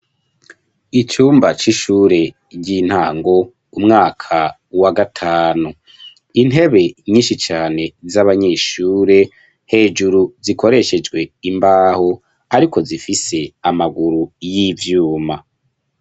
Icumba c'ishure ry'intango umwaka wa gatanu, intebe nyinshi cane z'abanyeshure hejuru zikoreshejwe imbaho ariko zifise amaguru y'ivyuma.